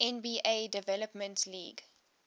nba development league